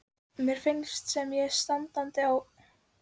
Mér finnst sem ég standi á bjargbrún, sagði hann þá.